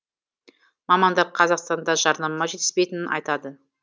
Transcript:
мамандар қазақстанға жарнама жетіспейтінін айтады